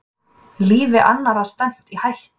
Lífi annarra stefnt í hættu